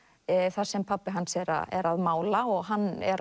þar sem pabbi hans er er að mála og hann er